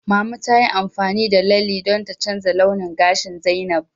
Mama ta yi amfani da lalle don ta canza launin gashin Zainab.